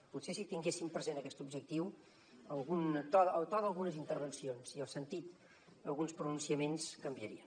potser si tinguessin present aquest objectiu el to d’algunes intervencions i el sentit d’alguns pronunciaments canviaria